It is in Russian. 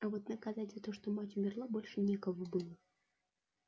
а вот наказать за то что мать умерла больше некого было